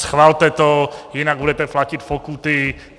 Schvalte to, jinak budete platit pokuty!